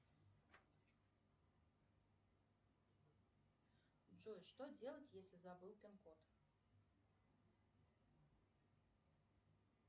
джой что делать если забыл пин код